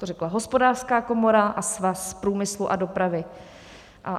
To řekla Hospodářská komora a Svaz průmyslu a dopravy.